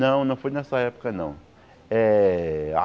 Não, não foi nessa época, não. Eh a